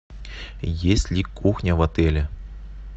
есть ли кухня в отеле